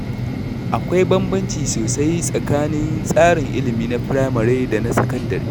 Akwai bambanci sosai tsakanin tsarin ilimi na firamare da na sakandare.